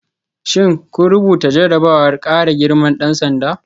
Shin kun rubuta jarrabawar kara girman dan sanda?